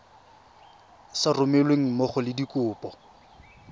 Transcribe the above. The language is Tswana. sa romelweng mmogo le dikopo